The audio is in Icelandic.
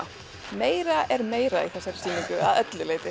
meira er meira í þessari sýningu að öllu leyti